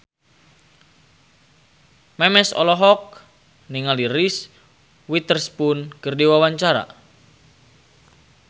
Memes olohok ningali Reese Witherspoon keur diwawancara